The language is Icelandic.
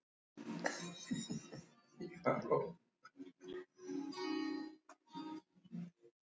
Sumir lesendur okkar hafa reynt að grafa hálfar holur.